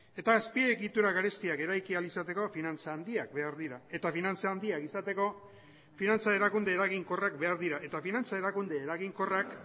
eta azpiegitura garestiak eraiki ahal izateko finantza handiak behar dira eta finantza handiak izateko finantza erakunde eraginkorrak behar dira eta finantza erakunde eraginkorrak